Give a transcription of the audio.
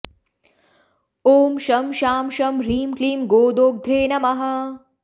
ॐ शं शां षं ह्रीं क्लीं गोदोग्ध्रे नमः